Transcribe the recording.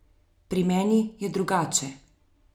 Pri meni je drugače.